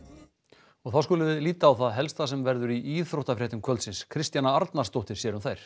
og þá skulum við líta á það helsta sem verður í íþróttafréttum kvöldsins Kristjana Arnarsdóttir sér um þær